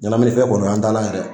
Ɲanaminifɛn kɔni o y'an taana yɛrɛ ye